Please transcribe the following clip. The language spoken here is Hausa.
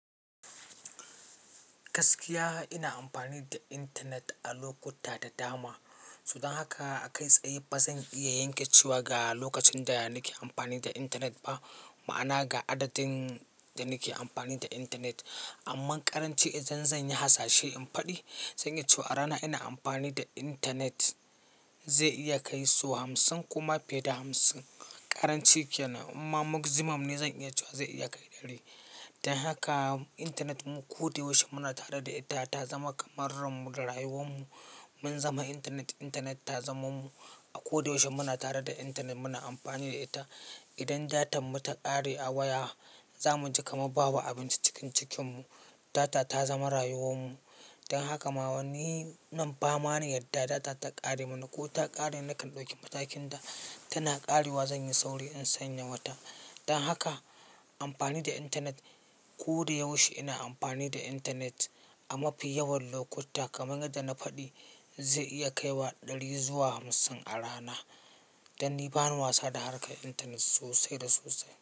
Gaskiya ina amfani da internet a lokuta da dama. So dan haka a kai tsaye ba zan iya yanke cewa ga lokacin da nake amfani da internet ba. Ma'ana ga adadin da nake amfani da intanet. Amma ƙaranci idan zan yi hasashe in faɗi, zan iya cewa rana ina amfani da internet zai iya kai so hamsin koma fiye da hamsin. Karanci ke nan. Amma maximum ne zan iya cewa zai iya kai ɗari. Dan haka internet mu ko da yaushe muna tare da ita, ta zama kamar ranmu da rayuwan mu. Mun zama intanet, intanet ta zama mu. A ko da yaushe muna tare da intanet muna amfani da ita. Idan datan mu ta ƙare a waya, zamu ji kamar babu abinci cikin cikin mu. Data ta zama rayuwan mu. Dan haka ma wani nan bama na yadda data ta ƙare mana ko ta ƙare ni nakan ɗauki matakin da tana ƙarewa zan yi sauri in sanya mata. Dan haka amfani da intanet ko da yaushe ina amfani da internet a mafi yawan lokuta kamar yadda na faɗi zai iya kaiwa ɗari zuwa hamsin a rana. Dan ni bani wasa da harkar internet sosai da sosai.